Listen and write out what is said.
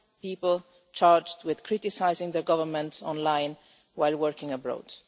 people charged with criticising their government online while working abroad.